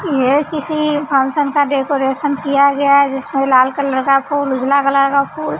ये किसी फंक्शन का डेकोरेशन किया गया है जिसमें लाल कलर का फूल उजला कलर का फूल --